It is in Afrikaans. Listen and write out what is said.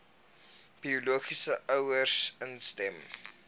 biologiese ouers instem